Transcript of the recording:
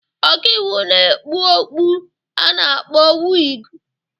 Ọka iwu na-ekpu okpu a na-akpọ wịgụ.